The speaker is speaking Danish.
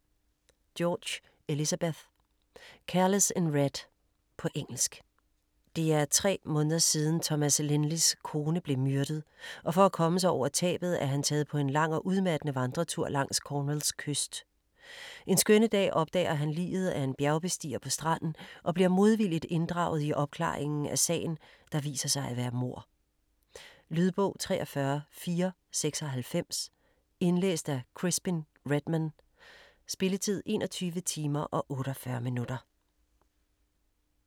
George, Elizabeth: Careless in red På engelsk. Det er tre måneder siden Thomas Lynley's kone blev myrdet, og for at komme sig over tabet er han taget på en lang og udmattende vandretur langs Cornwalls kyst. En skønne dag opdager han liget af en bjergbestiger på stranden og bliver modvilligt inddraget i opklaringen af sagen, der viser sig at være mord. Lydbog 43496 Indlæst af Crispin Redman. Spilletid: 21 timer, 48 minutter.